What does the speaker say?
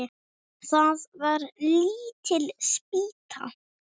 Það var lítil spýta.